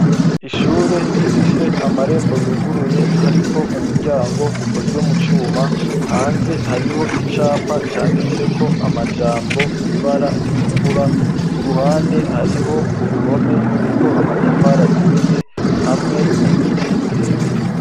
Ishure rifise amarembo yuguruye hariko umuryango ukozwe mu cuma hanze hariho icapa canditse ko amajambo mw'ibara ritukura, kuruhande hariho uruhome ruriko amatafara aturiye hamwe n'ibiti birebire.